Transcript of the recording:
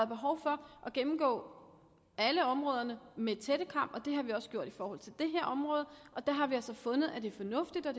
behov for at gennemgå alle områderne med en tættekam det har vi også gjort i forhold til det her område og der har vi altså fundet at det er fornuftigt og